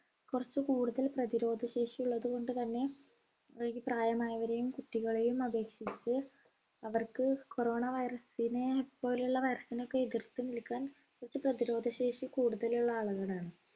കുറച്ച് കൂടുതൽ പ്രതിരോധ ശേഷി ഉള്ളതു കൊണ്ട്തന്നെ അവർക്ക് പ്രായമായവരെയും കുട്ടികളെയും അപേക്ഷിച്ച് അവർക്ക് corona virus നെ പോലെയുള്ള virus നൊക്കെ എതിർത്ത് നിൽക്കാൻ കുറച്ച് പ്രതിരോധ ശേഷി കൂടുതലുള്ള ആളുകളാണ്